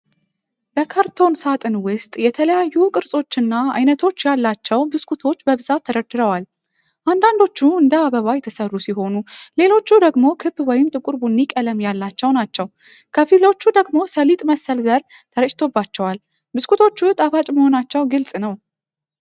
በካርቶን ሳጥን ውስጥ የተለያዩ ቅርጾችና አይነቶች ያላቸው ብስኩቶች በብዛት ተደርድረዋል። አንዳንዶቹ እንደ አበባ የተሰሩ ሲሆኑ፣ ሌሎቹ ደግሞ ክብ ወይም ጥቁር ቡኒ ቀለም ያላቸው ናቸው። ከፊሎቹ ደግሞ ሰሊጥ መሰል ዘር ተረጭቶባቸዋል። ብስኩቶቹ ጣፋጭ መሆናቸው ግልጽ ነው።